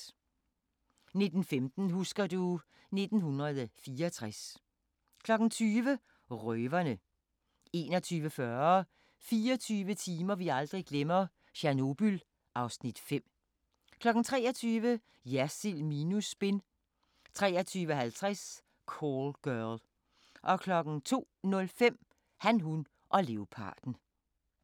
19:15: Husker du... 1964 20:00: Røverne 21:40: 24 timer vi aldrig glemmer: Tjernobyl (Afs. 5) 23:00: Jersild minus spin 23:50: Call Girl 02:05: Han, hun og leoparden